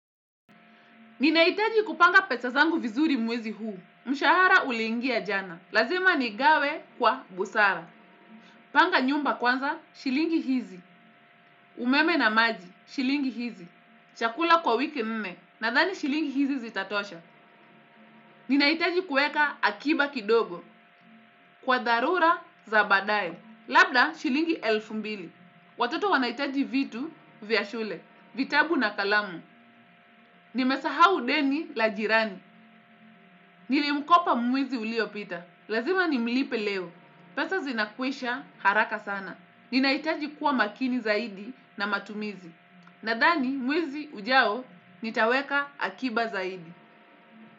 Ninahitaji kupanga pesa zangu vizuri mwezi huu. Mshahara ulingia jana. Lazima ni gawe kwa busara. Panga nyumba kwanza, shilingi hizi. Umeme na maji, shilingi hizi. Chakula kwa wiki nne, na thani shilingi hizi zitatosha. Ninahitaji kuweka akiba kidogo. Kwa dharura za baadaye. Labda, shilingi elfu mbili. Watoto wanahitaji vitu, vya shule. Vitabu na kalamu. Nimesahau deni la jirani. Nili mkopa mwizi uliopita. Lazima ni mlipe leo. Pesa zinakwisha haraka sana. Ninaitaji kuwa makini zaidi na matumizi. Nadhani mwizi ujao nitaweka akiba zaidi.